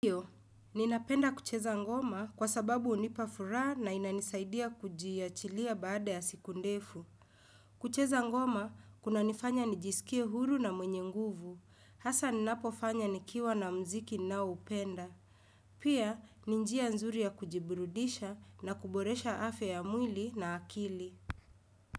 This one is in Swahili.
Ndiyo, ninapenda kucheza ngoma kwa sababu hunipa furaha na inanisaidia kujiachilia baada ya siku ndefu. Kucheza ngoma, kunanifanya nijisikie huru na mwenye nguvu. Hasa ninapofanya nikiwa na mziki naoupenda. Pia, ni njia nzuri ya kujiburudisha na kuboresha afya ya mwili na akili.